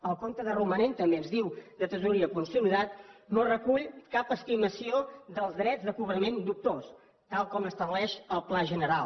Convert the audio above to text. el compte de romanent també ens diu de tresoreria consolidat no recull cap estimació dels drets de cobrament dubtós tal com estableix el pla general